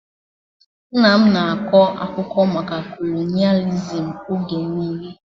Nna m na-akọ maka kolonịalizim oge niile